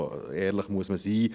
So ehrlich muss man sein.